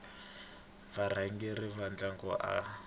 varhangeri va ndhavuko a va